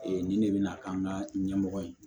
Ee nin de bɛna k'an ka ɲɛmɔgɔ ye